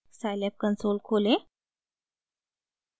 scilab console खोलें